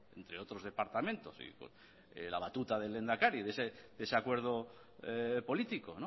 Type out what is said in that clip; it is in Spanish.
de otros departamentos de la batuta del lehendakari de ese acuerdo político